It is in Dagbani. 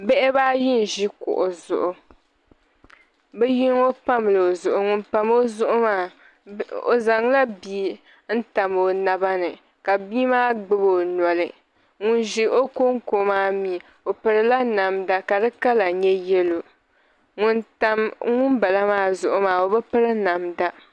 Bihi bɛba ayi n ʒi kuɣu zuɣu bɛ yinɔ pamla. ɔzuɣu ŋun pam. ɔzuɣu maa ɔ zaŋla bii n tam ɔ na ba ni, ka b ii maa gbubi ɔnɔli. ŋun ʒi ɔnkoŋko maa mi ɔpirila namda, ka di kala nyɛ yɛlow ŋun tam ŋun bala maa zuɣu maa ɔ bi piri namda.